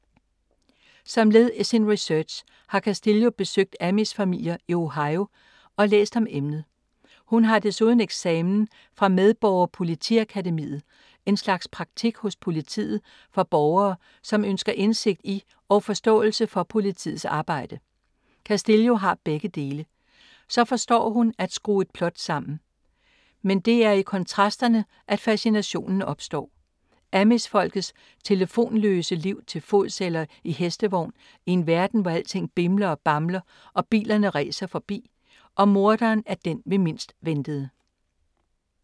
Som led i sin research har Castillo besøgt amish-familier i Ohio og læst om emnet. Hun har desuden eksamen fra ”medborger-politiakademiet”, en slags praktik hos politiet for borgere, som ønsker indsigt i og forståelse for politiets arbejde. Castillo har begge dele. Og så forstår hun at skrue et plot sammen. Men det er i kontrasterne at fascinationen opstår: Amish-folkets telefonløse liv til fods - eller i hestevogn - i en verden, hvor alting bimler og bamler og bilerne ræser forbi. Og morderen er den vi mindst ventede.